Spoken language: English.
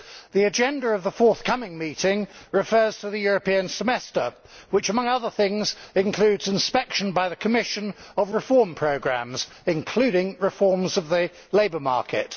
The agenda of the forthcoming meeting refers to the European Semester which, among other things, includes inspection by the Commission of reform programmes, including reforms of the labour market.